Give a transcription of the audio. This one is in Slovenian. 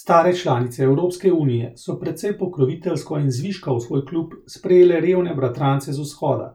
Stare članice Evropske unije so precej pokroviteljsko in zviška v svoj klub sprejele revne bratrance z Vzhoda,